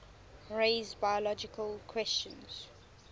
raise biological questions